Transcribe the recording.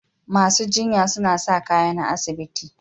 Masu jinya suna sa kaya na asibiti.